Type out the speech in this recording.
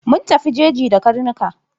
Mun tafi jeji da karnuka.